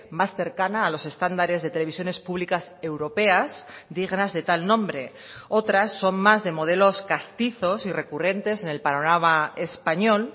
más cercana a los estándares de televisiones públicas europeas dignas de tal nombre otras son más de modelos castizos y recurrentes en el panorama español